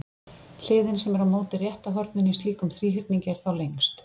Hliðin sem er á móti rétta horninu í slíkum þríhyrningi er þá lengst.